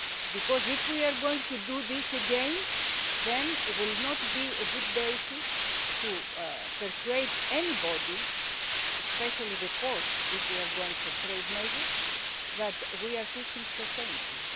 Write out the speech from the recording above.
Why? Because if we try to do this again it will not be a good basis for persuading anybody, especially the Court if we are going for trade measures, that we ourselves are fishing sustainably.